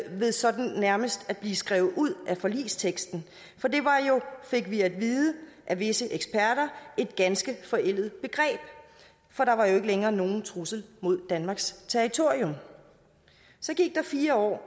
ved sådan nærmest at blive skrevet ud af forligsteksten for det var jo fik vi at vide af visse eksperter et ganske forældet begreb for der var jo ikke længere nogen trussel mod danmarks territorium så gik der fire år